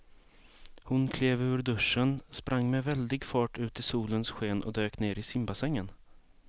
Hon klev ur duschen, sprang med väldig fart ut i solens sken och dök ner i simbassängen.